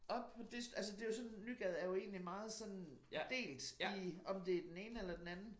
Op på det altså det jo sådan Nygade er jo egentlig meget sådan delt i om det den ene eller den anden